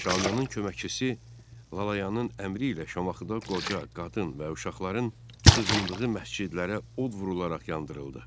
Şamiyanın köməkçisi Lalayanın əmri ilə Şamaxıda qoca, qadın və uşaqların sığındığı məscidlərə od vurularaq yandırıldı.